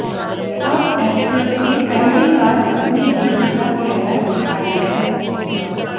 अब एक्ट्रेस ने पहली बार अपनी बेटी का चेहरा दिखाया है